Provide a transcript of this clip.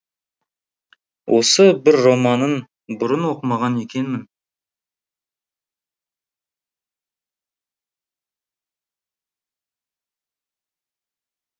осы бір романын бұрын оқымаған екенмін